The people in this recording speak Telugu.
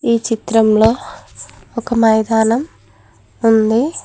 ఈ చిత్రంలో ఒక మైదానం ఉంది.